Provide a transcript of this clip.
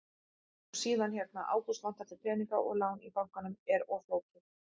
Og síðan hérna: Ágúst, vantar þig peninga og lán í bankanum er of flókið?